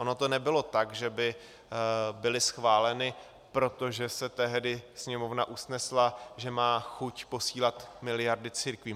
Ono to nebylo tak, že by byly schváleny, protože se tehdy Sněmovna usnesla, že má chuť posílat miliardy církvím.